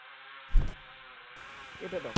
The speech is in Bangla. কেটে দাও।